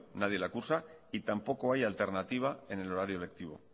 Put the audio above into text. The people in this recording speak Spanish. nadie le acusa y tampoco hay alternativa en el horario lectivo